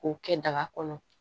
K'o kɛ daga kɔnɔ